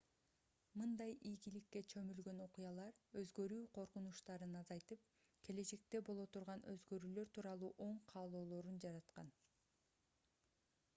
мындай ийгиликке чөмүлгөн окуялар өзгөрүү коркунучтарын азайтып келечекте боло турган өзгөрүүлөр тууралуу оң каалоолорун жараткан